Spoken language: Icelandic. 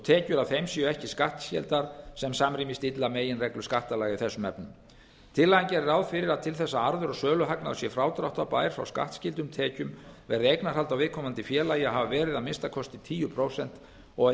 tekjur af þeim séu ekki skattskyldar sem samrýmist illa meginreglu skattalaga í þessum efnum tillagan gerir ráð fyrir að til þess að arður og söluhagnaður sé frádráttarbær frá skattskyldum tekjum verði eignarhald á viðkomandi félagi að hafa verið að minnsta kosti tíu prósent og að að